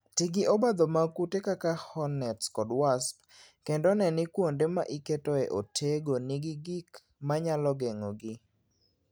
Ti gi obadho mag kute kaka hornets kod wasps, kendo ne ni kuonde ma iketoe otego nigi gik ma nyalo geng'ogi.